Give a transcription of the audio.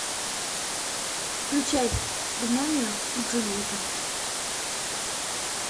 включай гномео и джульетта